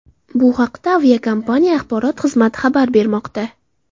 Bu haqda aviakompaniya axborot xizmati xabar bermoqda .